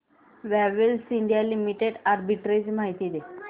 Havells India limited arbitrage माहिती दे